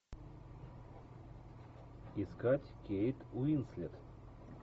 искать кейт уинслет